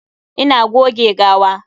Ina goge gawa.